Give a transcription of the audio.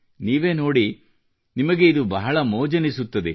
ನೀವೇ ನೋಡಿ ನಿಮಗೆ ಇದು ಬಹಳ ಮೋಜೆನಿಸುತ್ತದೆ